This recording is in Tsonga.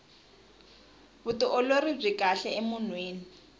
vutiolori byi kahle emunhwini